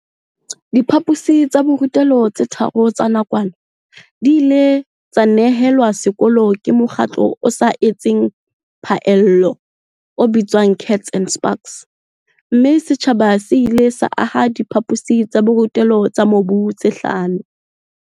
Diphaposi tsa borutelo tse tharo tsa nakwana di ile tsa nehelwa sekolong ke mokgatlo o sa etseng phaello o bitswang Kats and Spaks, mme setjhaba se ile sa aha diphaposi tsa borutelo tsa mobu tse hlano.